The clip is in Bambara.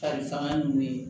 Kari fanga nunnu ye